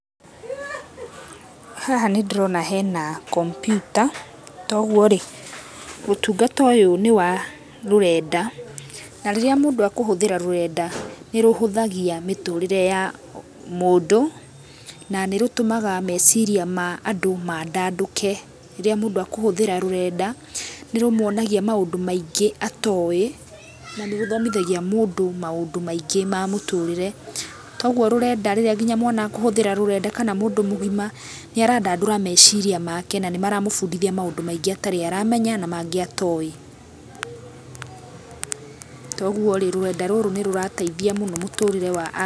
Haha nĩndĩrona hena kompiuta, toguo rĩ, ũtungata ũyũ nĩ wa rũrenda, na rĩrĩa mũndũ akũhũthĩra rũrenda, nĩ rũhũthagia mĩtũrĩre ya mũndũ na nĩ rũtũmaga meciria ma andũ mandandũke. Rĩrĩa mũndũ akũhũthĩra rũrenda, nĩ rũmũonagia maũndũ maingĩ atoĩ na nĩ rũthomithagia mũndũ maũndũ maingĩ ma mũtũrĩre, toguo rũrenda rĩrĩa nginya mwana akũhũthĩra rũrenda kana mũndũ mũgima, nĩ arandandũra meciria make na nĩ maramũbundithia maũndũ atarĩ aramenya na mangĩ atoĩ, toguo rĩ, rũrenda rũrũ nĩ rũrateithia mũno mũtũrĩre wa andũ.